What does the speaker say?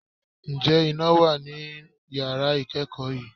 Ǹjẹ́ iná wà ní yàrá ìkẹ́kọ̀ọ́ yìí?